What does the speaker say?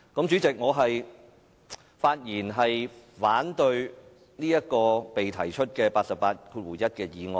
主席，我發言反對這項根據第881條動議的議案。